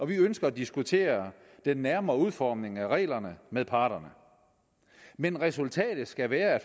vi ønsker at diskutere den nærmere udformning af reglerne med parterne men resultatet skal være